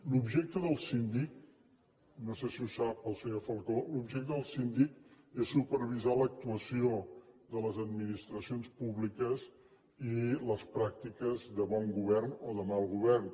l’objecte del síndic no sé si ho sap el senyor falcó l’objecte del síndic és supervisar l’actuació de les administracions públiques i les pràctiques de bon govern o de mal govern